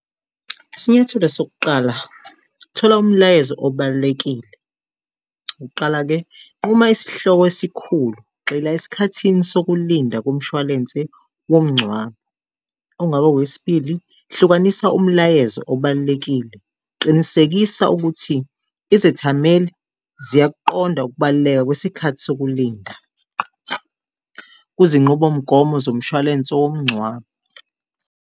Isinyathelo sokuqala, thola umlayezo obalulekile ngokuqala-ke nquma isihloko esikhulu, gxila esikhathini sokulinda komshwalense womngcwabo. Okungaba okwesibili, hlukanisa umlayezo obalulekile. Qinisekisa ukuthi izethameli ziyakuqonda ukubaluleka kwesikhathi sokulinda kuzinqubomgomo zomshwalense womngcwabo.